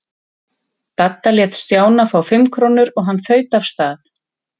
Dadda lét Stjána fá fimm krónur og hann þaut af stað.